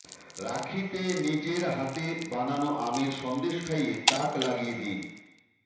রাখিতে নিজের হাতে বানানো আমের সন্দেশ খাইয়ে তাক লাগিয়ে দিন